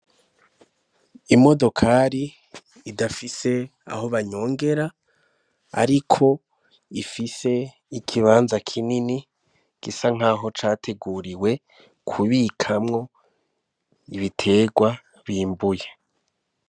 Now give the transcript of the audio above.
Imodokari idafise aho banyongera, ariko ifise ikibanza kinini gisa nkaho categuriwe kubikamwo ibitegwa bimbuye.